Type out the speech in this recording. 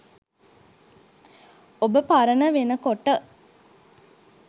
ඔබ පරණ වෙනකොට